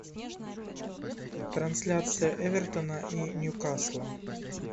трансляция эвертона и ньюкасла